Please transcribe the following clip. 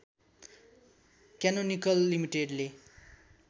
canonical लिमिटेडले